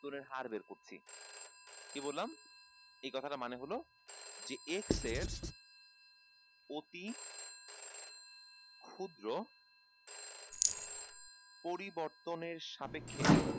এর হার বের করছি কি বললাম এই কথা মানে হলো যে x এর অতি ক্ষুদ্র পরিবর্তনের সাপেক্ষে